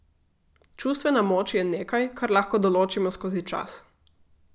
Čustvena moč je nekaj, kar lahko določimo skozi čas.